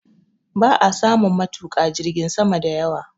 Ba a samun matuƙa jirgin sama da yawa